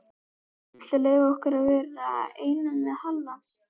Viltu leyfa okkur að vera einum með Halla?